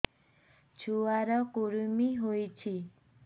ଛୁଆ ର କୁରୁମି ହୋଇଛି